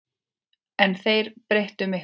En þeir breyttu miklu.